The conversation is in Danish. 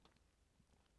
TV 2